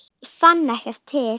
Ég fann ekkert til.